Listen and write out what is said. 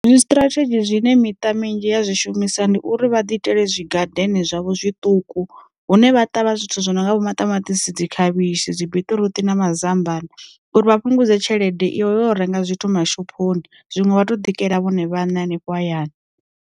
Dzi strategy zwine miṱa minzhi ya zwishumisa, ndi uri vha ḓi itele zwi ngadeni zwavho zwiṱuku hune vha ṱavha zwithu zwi no nga vho maṱamaṱisi dzi khavhishi, zwi biṱiruṱi na mazambani. Uri vha fhungudze tshelede iwe u renga zwithu ma shophoni zwine vha to ḓikela vhone vhaṋe hanefho hayani.